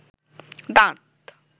দাঁত